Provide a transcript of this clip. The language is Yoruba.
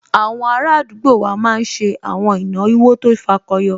Àwọn ará àdúgbò wa máa n ṣe àwọn ìnáwó tó fakọyọ